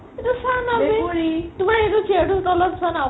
এইটো চা না বে তোমাৰ সেইটো chair ৰ তোৰ তলত চুৱা না